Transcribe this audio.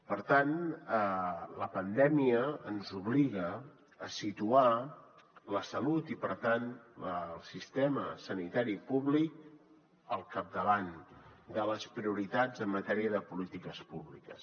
per tant la pandèmia ens obliga a situar la salut i per tant el sistema sanitari públic al capdavant de les prioritats en matèria de polítiques públiques